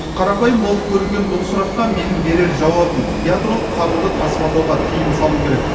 қарапайым болып көрінген бұл сұраққа менің берер жауабым ядролық қаруды тасымалдауға тыйым салу керек